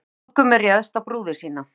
Brúðgumi réðst á brúði sína